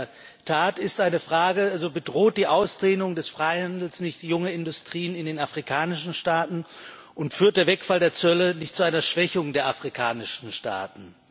Aber in der Tat ist eine Frage Bedroht die Ausdehnung des Freihandels nicht junge Industrien in den afrikanischen Staaten, und führt der Wegfall der Zölle nicht zu einer Schwächung der afrikanischen Staaten?